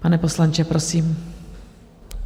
Pane poslanče, prosím.